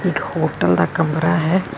ਇੱਕ ਹੋਟਲ ਦਾ ਕਮਰਾ ਹੈ।